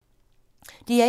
DR1